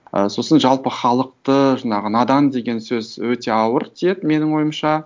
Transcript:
ы сосын жалпы халықты жаңағы надан деген сөз өте ауыр тиеді менің ойымша